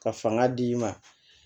Ka fanga d'i ma